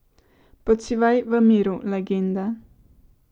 Počivaj v miru, legenda.